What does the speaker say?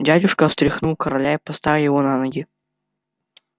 дядюшка встряхнул короля и поставил его на ноги